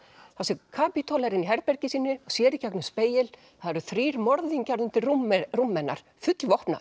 þar sem Kapítóla er inni í herbergi sínu sér í gegnum spegil það eru þrír morðingjar undir rúmi rúmi hennar